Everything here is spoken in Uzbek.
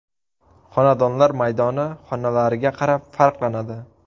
Xonadonlar maydoni xonalariga qarab farqlanadi.